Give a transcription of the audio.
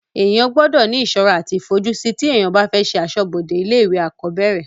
èèyàn gbọdọ̀ ní ìsọ́ra àti ìfojúsí tí èèyàn bá fẹ́ ṣe asọ́bọdè ilé ìwé àkọ́bẹ̀rẹ̀